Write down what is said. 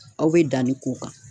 Aw be danni k'o kan